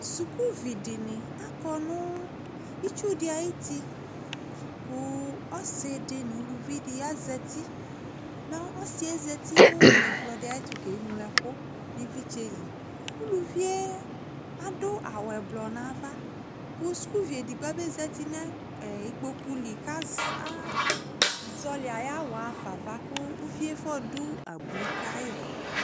Sukuvi dɩnɩ akɔ nʋ itsu dɩ ayuti kʋ ɔsɩ dɩ nʋ uluvi dɩ azati Mɛ ɔsɩ yɛ zati nʋ ɛkplɔ dɩ ayɛtʋ keŋlo ɛkʋ nʋ ɩvlɩtsɛ li Uluvi yɛ adʋ awʋ ɛblɔ nʋ ava kʋ sukuvi edigbo abezati nʋ ɛ ikpoku li kʋ az azɔɣɔlɩ ayʋ awʋ yɛ ɣa fa ava kʋ uvi yɛ fɔdʋ abui ka yɩ